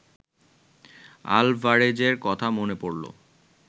আলভারেজের কথা মনে পড়ল